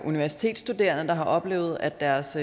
universitetsstuderende der har oplevet at deres